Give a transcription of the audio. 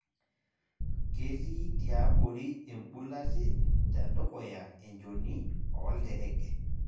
Ketii tiabori embulati tedukuya enchoni oolterege.